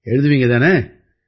எழுதுவீங்க தானே